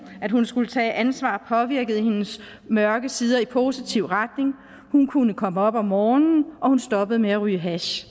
at hun skulle tage ansvar påvirkede hendes mørke sider i positiv retning hun kunne komme op om morgenen og hun stoppede med at ryge hash